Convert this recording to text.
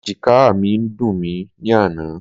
Ẹ̀jìkáà mi ń dùn mí ní àná.